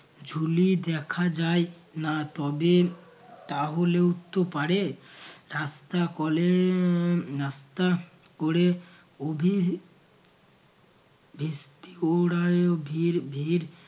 ঝুলি দেখা যায় না তবে তাহলেও তো পারে রাস্তা কলে উম নাস্তা ক'রে অভি ভিড় ভিড়